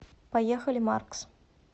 поехали маркс